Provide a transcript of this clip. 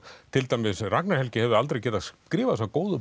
til dæmis Ragnar Helgi hefði aldrei getað skrifað þessa góðu